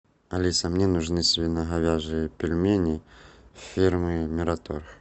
алиса мне нужны свино говяжьи пельмени фирмы мираторг